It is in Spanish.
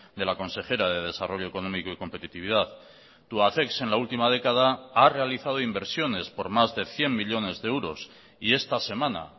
de la consejera de desarrollo económico y competitividad tubacex en la última década ha realizado inversiones por más de cien millónes de euros y esta semana